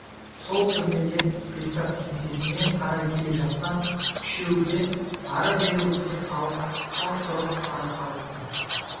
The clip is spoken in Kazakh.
сол түрмеден пристав кеңсесіне қарай келе жатқан үшеуге ары-бері өткен халық қалт тұрып қарай қалысты